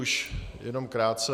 Už jenom krátce.